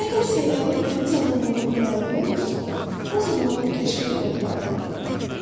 Əgər səyyahın təmiz adam olduğu məlum olursa, o zaman onun kəşfini yoxlayırlar.